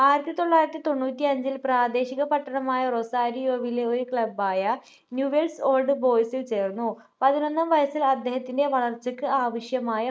ആയിരത്തിതൊള്ളായിരത്തിതൊണ്ണൂറ്റി അഞ്ചിൽ പ്രാദേശിക പട്ടണമായ റൊസാരിയോവിലെ ഒരു club ആയ new wealth old boys ൽ ചേർന്നു പതിനൊന്നാം വയസ്സിൽ അദ്ദേഹത്തിൻ്റെ വളർച്ചക്കു ആവശ്യമായ